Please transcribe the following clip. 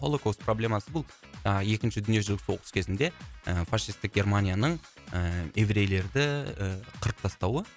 холокост проблемасы бұл ыыы екінші дүниежүзілік соғыс кезінде ы фашистік германияның ыыы еврейлерді қырып тастауы